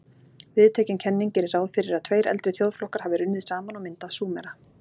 Viðtekin kenning gerir ráð fyrir að tveir eldri þjóðflokkar hafi runnið saman og myndað Súmera.